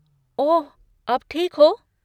ओह, अब ठीक हो?